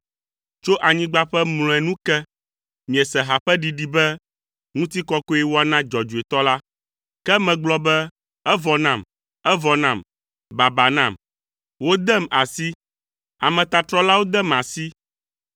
Tso anyigba ƒe mlɔea nu ke, miese ha ƒe ɖiɖi be, “Ŋutikɔkɔe woana Dzɔdzɔetɔ la.” Ke megblɔ be, “Evɔ nam, evɔ nam, baba nam. Wodem asi! Ametatrɔlawo dem asi!”